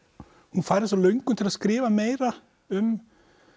hún fær þessa löngun til að skrifa meira um